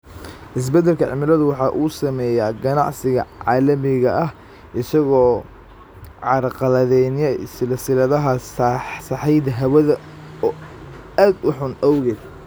Isbeddelka cimiladu waxa uu saameeyaa ganacsiga caalamiga ah isaga oo carqaladaynaya silsiladaha sahayda hawada oo aad u xun awgeed.